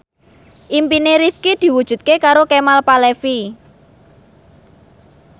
impine Rifqi diwujudke karo Kemal Palevi